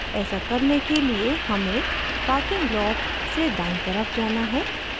ऐसा करने के लिए हमें parking lot से दायीं तरफ जाना है